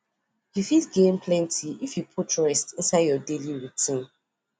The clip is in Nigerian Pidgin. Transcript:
you fit gain plenty if you put rest inside your daily routine